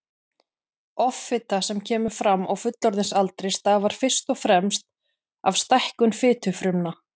Offita sem kemur fram á fullorðinsaldri stafar fyrst og fremst af stækkun fitufrumna.